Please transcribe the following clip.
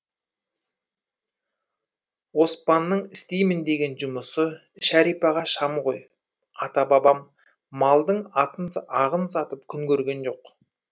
оспанның істеймін деген жұмысы шәрипаға шам ғой ата бабам малдың ағын сатып күн көрген жоқ